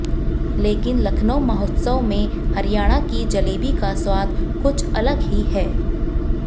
लेकिन लखनऊ महोत्सव में हरियाणा की जलेबी का स्वाद कुछअ लगही है